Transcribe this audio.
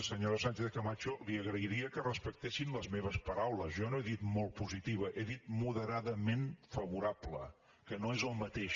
senyora sánchez camacho li agrairia que respectessin les meves paraules jo no he dit molt positiva he dit moderadament favorable que no és el mateix